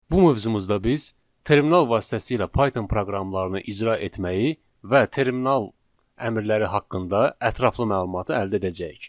Bu mövzumuzda biz terminal vasitəsilə Python proqramlarını icra etməyi və terminal əmrləri haqqında ətraflı məlumatı əldə edəcəyik.